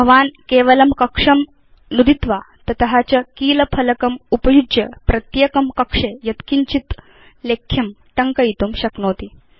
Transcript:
भवान् केवलं कक्षं नुदित्वा ततश्च कीलफ़लकम् उपयुज्य प्रत्येकं कक्षे यत्किञ्चित् लेख्यं टङ्कयितुं शक्नोति